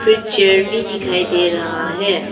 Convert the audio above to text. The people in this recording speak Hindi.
एक चेयर भी दिखाई दे रहा है।